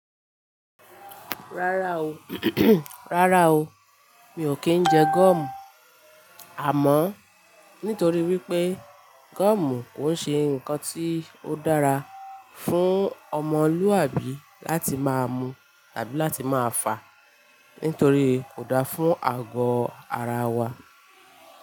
Rárá o, rárá o, mi ò kí ń jẹ gọ́ọ̀mù. Àmọ́n nítorí wípé gọ́ọ̀mù kò ń ṣe ǹkan tí ó dára fún ọmọlúwàbí láti máa mu tàbí láti máa fà á, nítorí kò da fún àgọ́ ara wa.